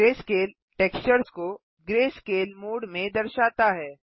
greyscale textures को greyscale mode में दर्शाता है